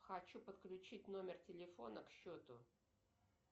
хочу подключить номер телефона к счету